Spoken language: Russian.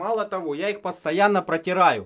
мало того я их постоянно протираю